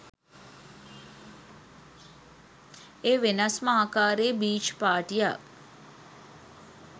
එය වෙනස්ම ආකාරයේ බීච් පාටියක්